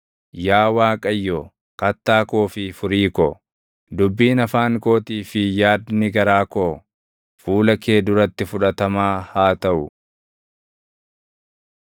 Yaa Waaqayyo, Kattaa koo fi Furii ko, dubbiin afaan kootii fi yaadni garaa koo fuula kee duratti fudhatamaa haa taʼu.